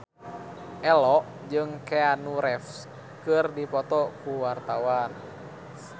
Ello jeung Keanu Reeves keur dipoto ku wartawan